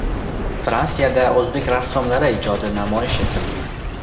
Fransiyada o‘zbek rassomlari ijodi namoyish etildi.